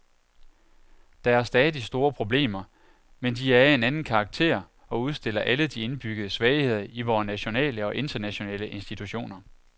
Der er stadig store problemer, men de er af en anden karakter og udstiller alle de indbyggede svagheder i vore nationale og internationale institutioner.